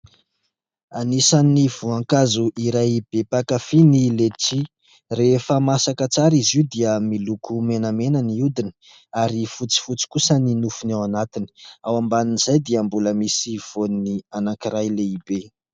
Anisan'ny voankazo iray be mpakafy ny "letchi". Refa masaka tsara izy io dia miloko menamena ny hodiny ary fotsifotsy kosa ny nofony ao anatiny ; ao ambanin'izay dia mbola misy voany anankiray lehibe.